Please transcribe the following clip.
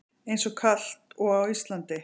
Eins kalt og á Íslandi?